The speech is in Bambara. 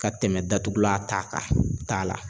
Ka tɛmɛ datugulan ta kan, t'a la